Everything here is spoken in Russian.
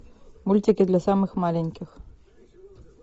мультики для самых маленьких